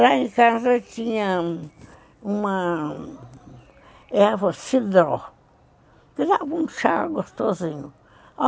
Lá em casa tinha uma erva cidró, que dava um chá gostosinho.